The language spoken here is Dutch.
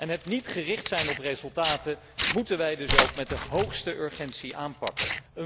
Het niet gericht zijn op resultaten moeten wij dan ook met de hoogste urgentie aanpakken.